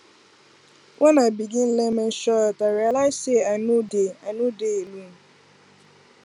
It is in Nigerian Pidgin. when i begin learn menstrual health i realize say i no dey i no dey alone